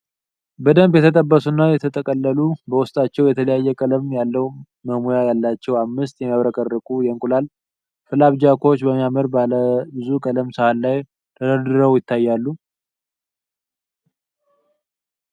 በደንብ የተጠበሱ እና የተጠቀለሉ፣ በውስጣቸው የተለያየ ቀለም ያለው መሙያ ያላቸው አምስት የሚያብረቀርቁ የእንቁላል ፍላፕጃኮች በሚያምር ባለ ብዙ ቀለም ሳህን ላይ ተደርድረው ይታያሉ።